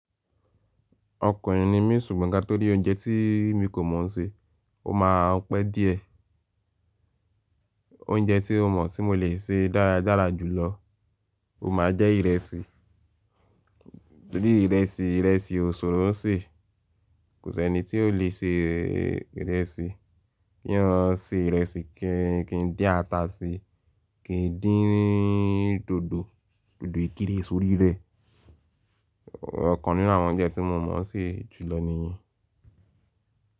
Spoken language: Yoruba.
Ọkùnrin ni mí ṣùgbọ́n ká torí oúnjẹ tí mi kò mọ̀ se, ó máa pẹ́ díẹ̀. Oúnjẹ tí mo mọ̀ tí mo lè se dáradára jùlọ, ó máa jẹ́ ìrẹsì. Torí ìrẹsì, ìrẹsì ò ṣòro ṣe. Kò sí ẹni tí ò le ṣe ìrẹsì. Kí o ṣe ìrẹsì kí n dín ata síi, kí n dín dòdò, dòdò ìkirè sórí rẹ̀. Ọ̀kan nínú àwọn oúnjẹ tí mo mọ̀ ṣe jùlọ nìyí.